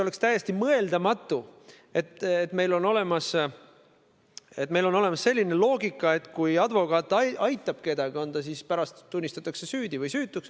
Oleks täiesti mõeldamatu, kui meil oleks selline loogika, et kui advokaat kedagi aitab, ükskõik kas ta mõistetakse pärast süüdi või mitte.